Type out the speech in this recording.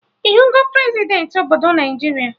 Ịhụgọ Prezidentị obodo Naijiria?